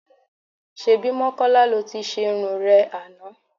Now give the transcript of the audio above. Ṣebí Mọ́kọ́lá lo ti ṣerun rẹ àná?